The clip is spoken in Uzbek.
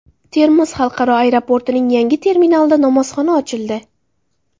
Termiz xalqaro aeroportining yangi terminalida namozxona ochildi .